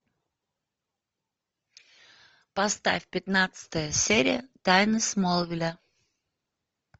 поставь пятнадцатая серия тайны смолвиля